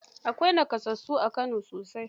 Akwai nakasassu a Kano sosai.